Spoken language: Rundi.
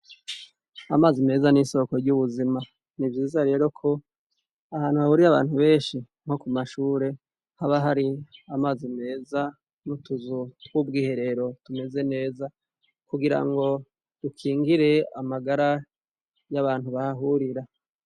Amazi meza nisoko ryubuzima nivyiza rero ko ahantu hahurira abantu benshi nkokumashure habahari amazi meza nutuzu tubwiherero tumeze neza kugirango dukingire amagara yabantu bahahurira